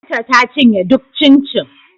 Binta ta cinye duk cincin